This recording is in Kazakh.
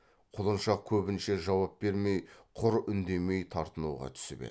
құлыншақ көбінше жауап бермей құр үндемей тартынуға түсіп еді